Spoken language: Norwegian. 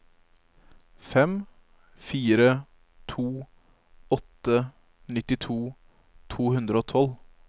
fem fire to åtte nittito to hundre og tolv